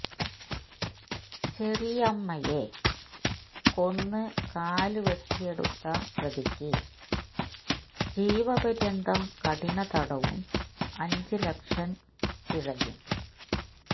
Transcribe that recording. ചെറിയമ്മയെ കൊന്ന് കാല് വെട്ടിയെടുത്ത പ്രതിക്ക് ജീവപര്യന്തം കഠിന തടവും അഞ്ച് ലക്ഷം പിഴയും